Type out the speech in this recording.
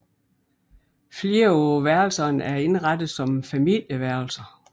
Flere af værelserne er indrettet som familieværelser